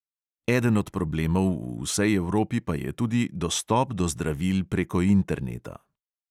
Eden od problemov v vsej evropi pa je tudi dostop do zdravil preko interneta.